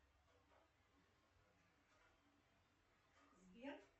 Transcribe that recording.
сбер